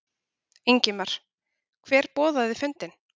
Ingimar: Hver boðaði fundinn?